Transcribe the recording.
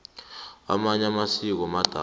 amanye amasiko madala